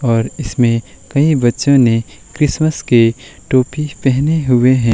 और इसमें कई बच्चों ने क्रिसमस के टोपी पहने हुए हैं।